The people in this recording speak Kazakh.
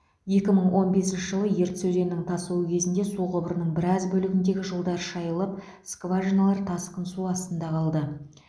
ек мың он бесінші жылы ертіс өзенінің тасуы кезінде су құбырының біраз бөлігіндегі жолдар шайылып скважиналар тасқын су астында қалды